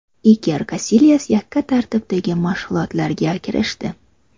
Iker Kasilyas yakka tartibdagi mashg‘ulotlarga kirishdi.